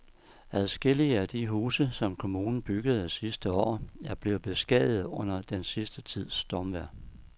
Adskillige af de huse, som kommunen byggede sidste år, er blevet beskadiget under den sidste tids stormvejr.